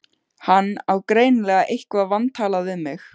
Hann á greinilega eitthvað vantalað við mig.